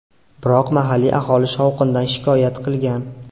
Biroq mahalliy aholi shovqindan shikoyat qilgan.